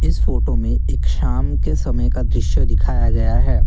इस फोटो में एक शाम के समय का दृश्य दिखाया गया है।